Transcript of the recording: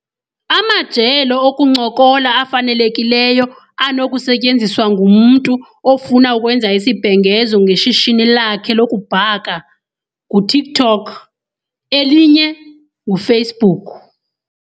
Amajelo okuncokola afanelekileyo anokusetyenziswa ngumntu ofuna ukwenza isibhengezo ngeshishini lakhe lokubhaka nguTikTok elinye nguFacebook.